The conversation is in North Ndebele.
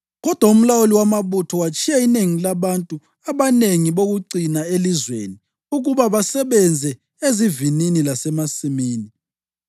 Kodwa umlawuli wamabutho watshiya inengi labantu ababengabayanga bokucina elizweni ukuba basebenze ezivinini lasemasimini.